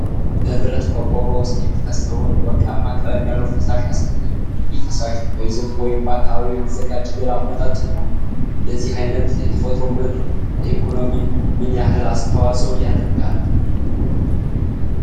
በብረት ቆርቆሮ ውስጥ የሚፈሰውን ወርቃማ ቀለም ያለው ፈሳሽ ያሳያል። ይህ ፈሳሽ በዘይት ወይም በአካባቢው የሚዘጋጅ ሌላ መጠጥ ይሆን? እንደዚህ ዓይነቱ የተፈጥሮ ምርት ለኢኮኖሚው ምን ያህል አስተዋፅኦ ያደርጋል?